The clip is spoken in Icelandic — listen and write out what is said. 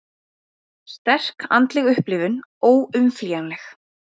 Sterk andleg upplifun óumflýjanleg